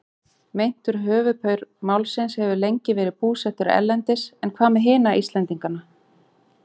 Meintur höfuðpaur málsins hefur lengi verið búsettur erlendis en hvað með hina Íslendingana?